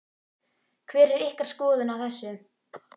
Hver er ykkar skoðun á þessu?